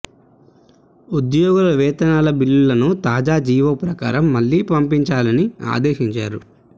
ఉద్యోగుల వేతనాల బిల్లులను తాజా జీవో ప్రకారం మళ్లీ పంపించాలని ఆదేశించారు